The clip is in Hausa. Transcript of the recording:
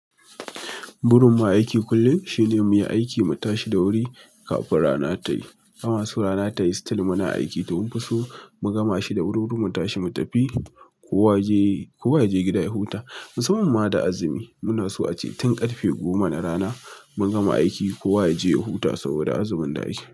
Burin mu aiki kullum shine mu yi aiki, mu tashi da wuri kafin rana tayi. Bama so rana tayi still muna aiki. Tun fiso mu gama shi da wur wurin mu tashi mu tafi. Kowa yaje, kowa yaje gida ya huta. Musamman ma da azumi. Munaso ace tin karfe goma na rana mun gama aiki kowa yaje ya huta saboda azumin da ake.